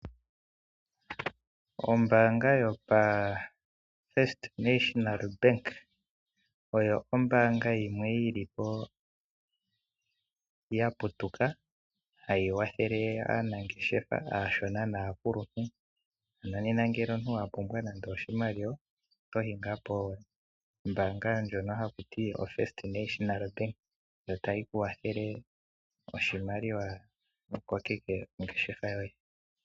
Ombanga yo First National Bank oyo ombanga yimwe yili po yaputuka hayi wathele aanangeshefa aashona na akuluntu , nonena ngele omuntu wapumbwa nande oshimaliwa otoyi ngaa pombaanga ndjono haku tiwa First National Bank yotayiku wathele oshimaliwa wu kokeke ongeshefa yoye.